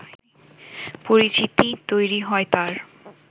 পরিচিতি তৈরি হয় তাঁর